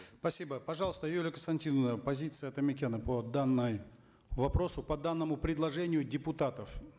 спасибо пожалуйста юлия константиновна позиция атамекена по данному вопросу по данному предложению депутатов